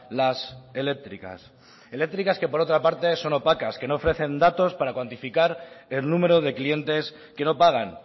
las eléctricas eléctricas que por otra parte son opacas que no ofrecen datos para cuantificar el número de clientes que no pagan